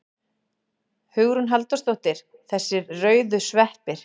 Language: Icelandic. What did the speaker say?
Hugrún Halldórsdóttir: Þessir rauðu sveppir?